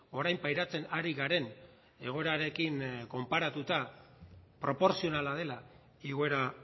orain pairatzen ari garen egoerarekin konparatuta proportzionala dela igoera